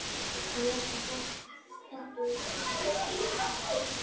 Hann lét sér fátt um finnast, sturtaði í sig kókinu.